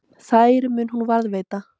Þær mun hún varðveita.